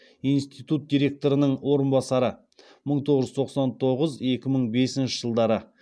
институт директорының орынбасары